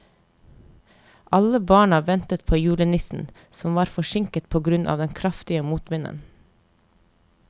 Alle barna ventet på julenissen, som var forsinket på grunn av den kraftige motvinden.